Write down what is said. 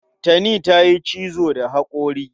Tani za ta yi cizo da haƙori.